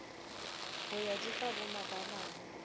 ho ya di fa bomabalane